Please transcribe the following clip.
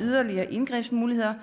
yderligere indgrebsmuligheder